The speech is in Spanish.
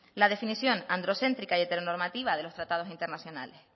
la definición androcéntrica y heteronormativa de los tratados internacionales